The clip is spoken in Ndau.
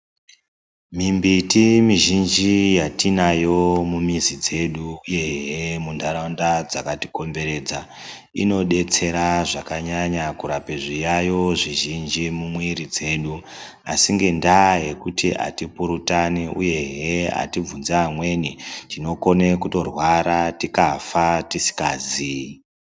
Mimbiti yatinayo mizhinji yatinayo mumizi dzedu uyehe muntaraunda dzakatikomberedza inodetsera zvakanyanya kurape zviyayiyo zvizvinji mumwiri dzedu asi ngenda yekuti atipurutani uyehe atibvunzi amweni tinokone kutorwra tikafa tisingazi.